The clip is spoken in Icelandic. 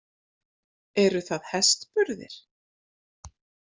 Eru það hestburðir?